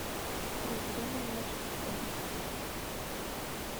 проблемы младших школьников